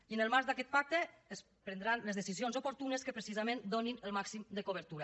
i en el marc d’aquest pacte es prendran les decisions oportunes que precisament donin el màxim de cobertura